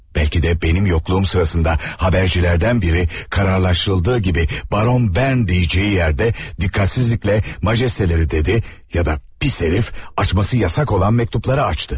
Bəlkə də mənim yoxluğum sırasında habercilərdən biri kararlaşıldığı kimi Baron Bern deyəcəyi yerdə dikkatsizliklə majesteleri dedi ya da pis herif açması yasak olan məktubları açdı.